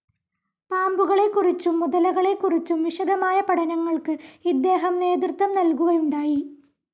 പാമ്പുകളെക്കുറിച്ചും മുതലകളെക്കുറിച്ചും വിശദമായ പഠനങ്ങൾക്ക് ഇദ്ദേഹം നേതൃത്വം നൽകുകയുണ്ടായി.